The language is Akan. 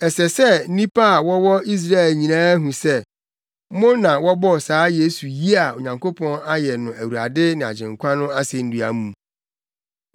“Ɛsɛ sɛ nnipa a wɔwɔ Israel nyinaa hu sɛ, mo na mobɔɔ saa Yesu yi a Onyankopɔn ayɛ no Awurade ne Agyenkwa no asennua mu.”